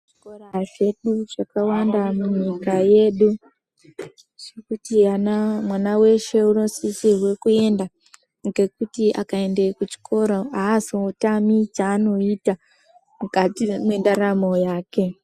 Zvikora zvedu zvakawanda munyika yedu zvekuti mwana weshe unosisrwe kuenda. Ngekuti akaende kuchikoro haazotami chaanoita mukati mwendaramo yake.